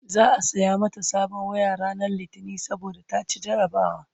za'a saya mata sabon waya ranar litini saboda ta ci jarabawa